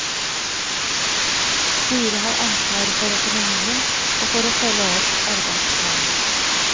Styret har ansvaret for økonomien, og for å følge opp arbeidsplanen.